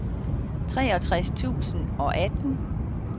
treogtres tusind og atten